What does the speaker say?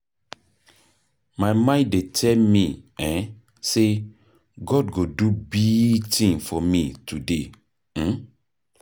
My mind dey tell me um sey God go do big thing for me today. um